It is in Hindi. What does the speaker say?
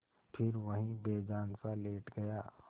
फिर वहीं बेजानसा लेट गया